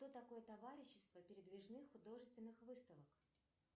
что такое товарищество передвижных художественных выставок